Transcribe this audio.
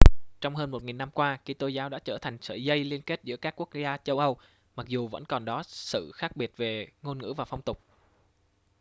trong hơn một nghìn năm qua kitô giáo đã trở thành sợi dây liên kết giữa các quốc gia châu âu mặc dù vẫn còn đó sự khác biệt về ngôn ngữ và phong tục